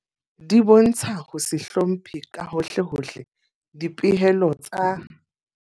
Di bontsha ho se hlomphe ka hohlehohle dipehelo tsa.